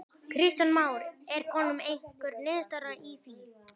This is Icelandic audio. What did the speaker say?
Kristján Már: Er komin einhver niðurstaða í því?